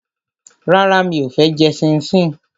Rárá, mi ò fẹ́ jẹ ṣíńṣiǹ